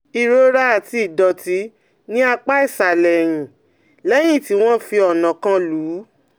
Ìrora àti ìdọ̀tí ní apá ìsàlẹ̀ ẹ̀yìn lẹ́yìn tí wọ́n fi ọ̀nà kan lù ú